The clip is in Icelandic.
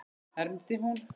hermdi hún.